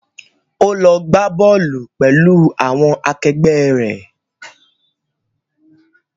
Ó lọ gbá bọ́ọ̀lù pẹ̀lú àwọn akẹgbẹ́ rẹ̀.